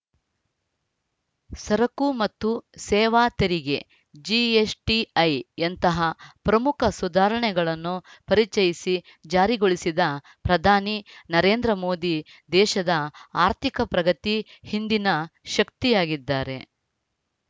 ಸರಕು ಮತ್ತು ಸೇವಾ ತೆರಿಗೆ ಜಿಎಸ್‌ಟಿಐಯಂತಹ ಪ್ರಮುಖ ಸುಧಾರಣೆಗಳನ್ನು ಪರಿಚಯಿಸಿ ಜಾರಿಗೊಳಿಸಿದ ಪ್ರಧಾನಿ ನರೇಂದ್ರ ಮೋದಿ ದೇಶದ ಆರ್ಥಿಕ ಪ್ರಗತಿ ಹಿಂದಿನ ಶಕ್ತಿಯಾಗಿದ್ದಾರೆ